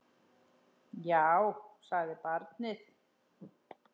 Já, sagði barnið.